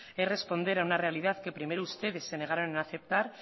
es responder a una realidad que primero ustedes se negaron a aceptar